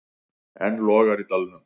Enn logar í dalnum.